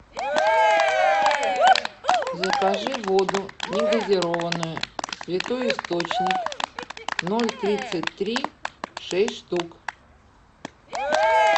закажи воду негазированную святой источник ноль тридцать три шесть штук